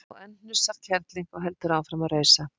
Og enn hnussar kerling og heldur áfram að rausa